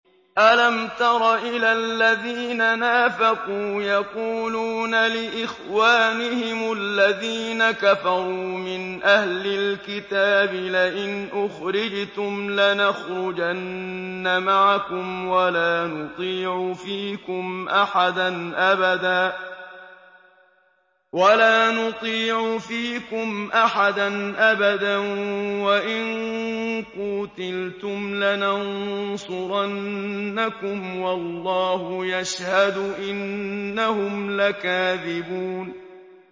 ۞ أَلَمْ تَرَ إِلَى الَّذِينَ نَافَقُوا يَقُولُونَ لِإِخْوَانِهِمُ الَّذِينَ كَفَرُوا مِنْ أَهْلِ الْكِتَابِ لَئِنْ أُخْرِجْتُمْ لَنَخْرُجَنَّ مَعَكُمْ وَلَا نُطِيعُ فِيكُمْ أَحَدًا أَبَدًا وَإِن قُوتِلْتُمْ لَنَنصُرَنَّكُمْ وَاللَّهُ يَشْهَدُ إِنَّهُمْ لَكَاذِبُونَ